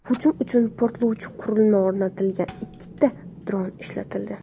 Hujum uchun portlovchi qurilma o‘rnatilgan ikkita dron ishlatildi.